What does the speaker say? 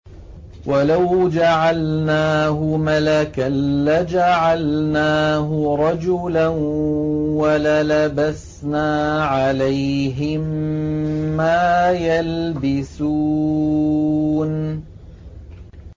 وَلَوْ جَعَلْنَاهُ مَلَكًا لَّجَعَلْنَاهُ رَجُلًا وَلَلَبَسْنَا عَلَيْهِم مَّا يَلْبِسُونَ